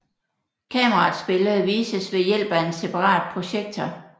Kameraets billede vises ved hjælp af en separat projektor